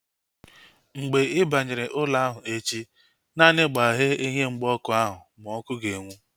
Mgbe ị banyere ụlọ ahụ echi, naanị gbaghee ihe mgba ọkụ ahu ma ọkụ ga-enwu